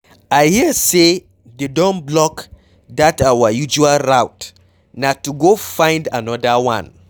I hear say dey don block dat our usual route na to go find another one.